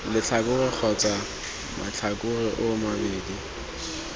letlhakore kgotsa matlhakore oo mabedi